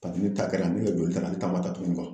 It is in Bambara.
Kabi ne ta kɛra ne ka joli tara ale ta ma kɛtuguni